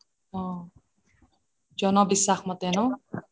অহ জন বিশ্বাস মতে ন